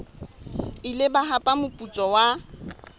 ile ba hapa moputso wa